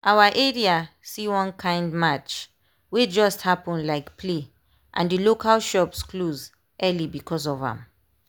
our area see one kind march wey just happen like play and the local shops close early because of am.